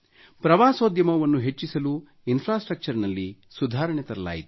ಪ್ರವಾಸೋದ್ಯಮವನ್ನು ಹೆಚ್ಚಿಸಲು ಇನ್ಫ್ರಾಸ್ಟ್ರಕ್ಚರ್ ನಲ್ಲಿ ಸುಧಾರಣೆ ತರಲಾಯಿತು